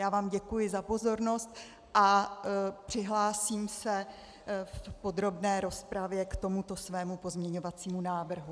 Já vám děkuji za pozornost a přihlásím se v podrobné rozpravě k tomuto svému pozměňovacímu návrhu.